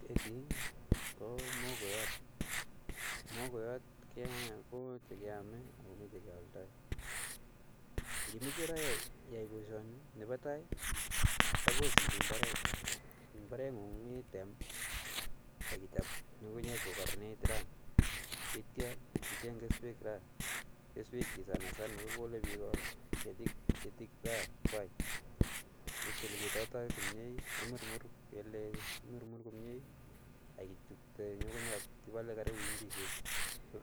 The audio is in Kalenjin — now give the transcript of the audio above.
Ketii ko muhogoiyot, muhogoiyot komi ne keame akomi che kealdai. Ngimeche ra iyae boisioni, nebo tai, suppose indoi imbaaret, imbaarengung item ak ichop ngungunyek ko kararanitu ityo icheng keswek ra, keswekchi sanasana kokole biik ketiikwai itiil ketoto komnye imurmur kele imurmur komnye ak itupte ngungunyat ipole kaibu inchisiek